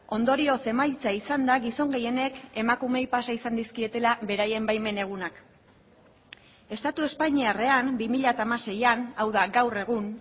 ondorioz emaitza izan da gizon gehienek emakumeei pasa izan dizkietela beraien baimen egunak estatu espainiarrean bi mila hamaseian hau da gaur egun